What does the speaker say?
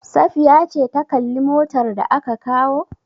Safiya ce ta kalli motar da aka kawo?